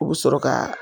U bɛ sɔrɔ ka